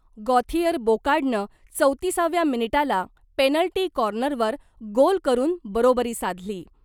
Gauthier बोकार्डनं चौतीसाव्या मिनिटाला पेनल्टी कॉर्नरवर गोल करून बरोबरी साधली .